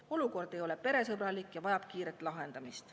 Olukord ei ole peresõbralik ja vajab kiiret lahendamist.